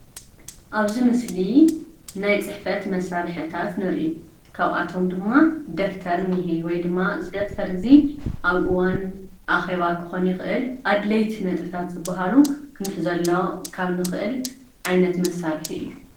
ኣብ እዚ ምስሊ ናይ ፅሕፈት መሰርሕታት ንርኢ ከብአቶም ድማ ደፍተር እንህ ወይ ድማ እዚ ደፍተር እዚ ኣብ እዋን ኣኬባ ክኮን ይክእል ኣድለይቲ ነጥብታት ዝበሃሉ ክንሕዘሎም ካብ ንክእል ዓይነት መሳርሕ እዩ።